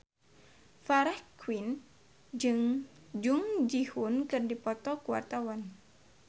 Farah Quinn jeung Jung Ji Hoon keur dipoto ku wartawan